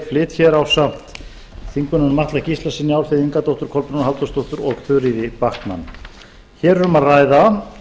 flyt ásamt háttvirtum þingmanni atla gíslasyni álfheiði ingadóttur og þuríði backman hér er um að ræða